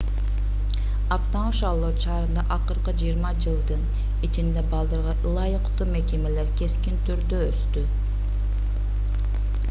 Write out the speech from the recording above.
аптаун шарлот шаарында акыркы 20 жылдын ичинде балдарга ылайыктуу мекемелер кескин түрдө өстү